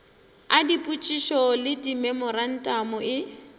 a dipotšišo le dimemorantamo e